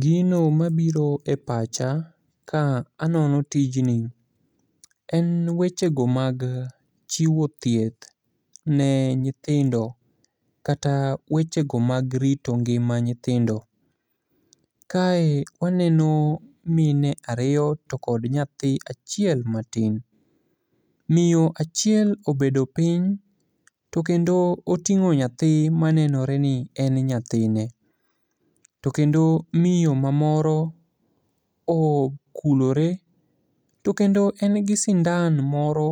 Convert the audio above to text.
Gino mabiro e pacha ka anono tijni en wechego mag chiwo thieth ne nyithindo kata wechego mag rito ngima nyithindo. Kae waneno mine ariyo to kod nyathi achiel matin. Miyo achiel obedo piny to kendo oting'o nyathi ma nenore ni en nyathine, to kendo miyo mamoro okulore to kendo en gi sindan moro